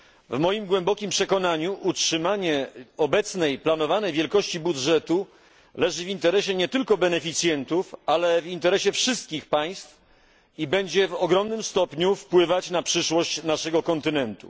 W moim głębokim przekonaniu utrzymanie obecnej planowanej wielkości budżetu leży w interesie nie tylko beneficjentów, ale w interesie wszystkich państw, i będzie w ogromnym stopniu wpływać na przyszłość naszego kontynentu.